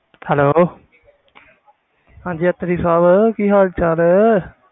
Hello ਹਾਂਜੀ ਅੱਤਰੀ ਸਾਹਬ ਕੀ ਹਾਲ ਚਾਲ?